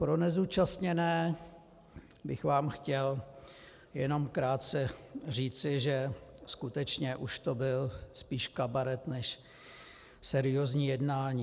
Pro nezúčastněné bych vám chtěl jenom krátce říci, že skutečně už to byl spíš kabaret než seriózní jednání.